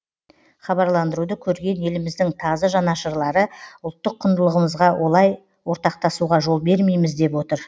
хабарландыруды көрген еліміздің тазы жанашырлары ұлттық құндылығымызға олай ортақтасуға жол бермейміз деп отыр